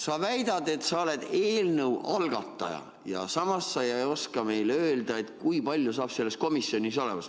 Sa väidad, et sa oled eelnõu algataja, samas sa ei oska meile öelda, kui palju hakkab selles komisjonis liikmeid olema.